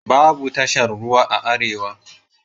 Babu tashar ruwa a arewa.